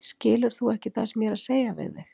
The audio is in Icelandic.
Skilur þú ekki það sem ég er að segja við þig!